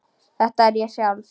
Þetta er ég sjálf.